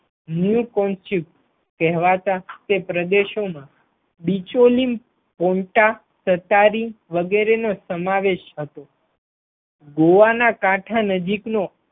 મુકોઇપ કહેવાતા તે પ્રદેશો માં બીચોલી સહકારી વગેરેનો સમાવેશ થતો ગોવા ના કાંઠા નજીકનો